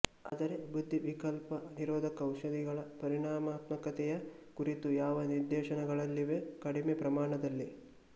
ಆದರೆ ಬುದ್ಧಿವಿಕಲ್ಪ ನಿರೋಧಕ ಔಷಧಿಗಳ ಪರಿಣಾಮಾತ್ಮಕತೆಯ ಕುರಿತು ಯಾವ ನಿದರ್ಶನಗಳಿವೆ ಕಡಿಮೆ ಪ್ರಮಾಣದಲ್ಲಿ